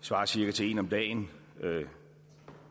svarer cirka til en om dagen